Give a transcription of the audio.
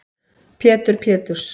Pétur Péturs